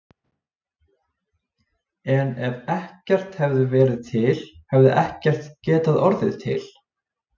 En ef ekkert hefði verið til hefði ekkert getað orðið til.